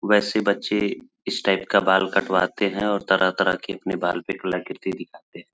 वैसे बच्चे इस टाइप का बाल कटवाते है और तरह-तरह के अपने बाल पे कलाकृति दिखते है।